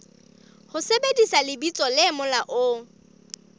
ho sebedisa lebitso le molaong